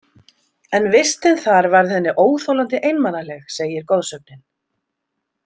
En vistin þar varð henni óþolandi einmanaleg, segir goðsögnin.